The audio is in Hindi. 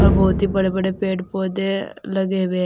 बहुत ही बड़े बड़े पेड़ पौधे लगे हुए हैं।